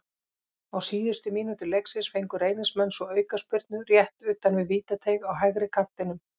Á síðustu mínútu leiksins fengu Reynismenn svo aukaspyrnu rétt utan við vítateig á hægri kantinum.